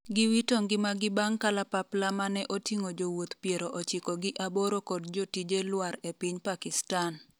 giwito ngimagi bang' kalapapla mane oting'o jowuoth piero ochiko gi aboro kod jotije lwar e piny Pakistan